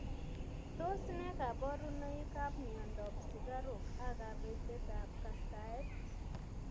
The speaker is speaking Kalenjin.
Tos ne kaborunoikab miondop sukaruk ak kabetetab kastaet?